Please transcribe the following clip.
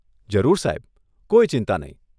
જરૂર સાહેબ, કોઈ ચિંતા નહીં.